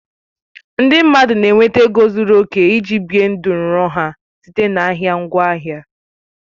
Ndị mmadụ na-enweta ego zuru oke iji bie ndụ nrọ ha site na ahịa ngwaahịa